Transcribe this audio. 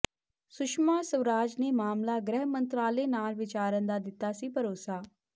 ਸੁਸ਼ਮਾ ਸਵਰਾਜ ਨੇ ਮਾਮਲਾ ਗ੍ਰਹਿ ਮੰਤਰਾਲੇ ਨਾਲ ਵਿਚਾਰਨ ਦਾ ਦਿੱਤਾ ਸੀ ਭਰੋਸਾ